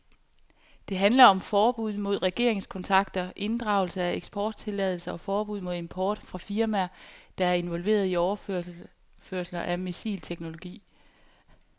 Det handler om forbud mod regeringskontakter, inddragelse af eksporttilladelser og forbud mod import fra firmaer, der er involveret i overførelser af missilteknologi.